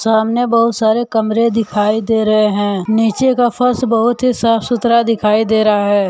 सामने बहुत सारे कमरे दिखाई दे रहे हैं नीचे का फर्श बहुत ही साफ सुथरा दिखाई दे रहा है।